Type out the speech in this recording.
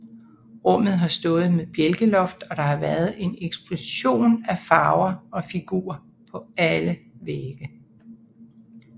Rummet har stået med bjælkeloft og der har været en eksplosion af farver og figurer på alle vægge